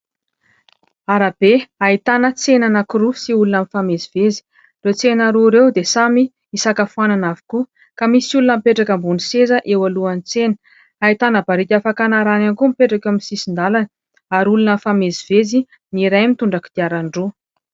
Arabe ahitana tsena anankiroa sy olona mifamezivezy. Ireo tsena roa ireo dia samy isakafoanana avokoa, ka misy olona mipetraka ambony seza, eo alohan'ny tsena. Ahitana barika fakana rano ihany koa mipetraka eo amin'ny sisin-dalana, ary olona mifamezivezy ; ny iray mitondra kodiarandroa.